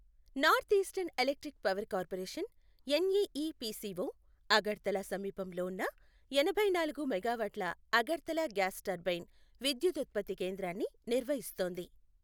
North eastern electric power corporation, NEEPCO, Agartala సమీపంలో ఉన్న ఎనభై నాలుగు మెగావాట్ల అగర్తలా గ్యాస్ టర్బైన్ విద్యుతుత్పత్తి కేంద్రాన్ని నిర్వహిస్తోంది.